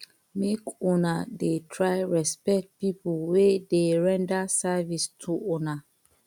make una dey try respect pipo wey dey render service to una